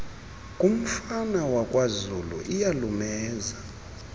komfana wakwazulu iyalumeza